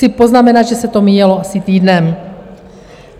Chci poznamenat, že se to míjelo asi týdnem.